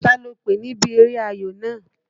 Ta lòpè níbi eré ayò náà?